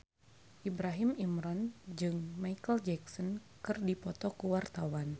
Ibrahim Imran jeung Micheal Jackson keur dipoto ku wartawan